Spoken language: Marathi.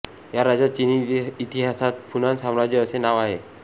या राज्याला चीनी इतिहासात फुनान साम्राज्य असे नाव आहे